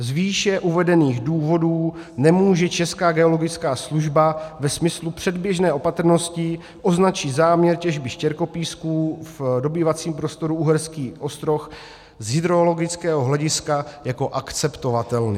Z výše uvedených důvodů nemůže Česká geologická služba ve smyslu předběžné opatrnosti označit záměr těžby štěrkopísků v dobývacím prostoru Uherský Ostroh z hydrologického hlediska jako akceptovatelný.